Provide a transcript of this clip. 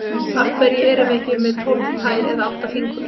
Af hverju erum við ekki með tólf tær eða átta fingur?